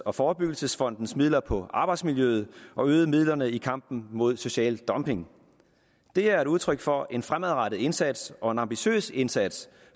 af forebyggelsesfondens midler på arbejdsmiljøet og øget midlerne i kampen imod social dumping det er et udtryk for en fremadrettet indsats og en ambitiøs indsats